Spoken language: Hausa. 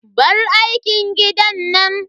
Bar aikin gidan nan.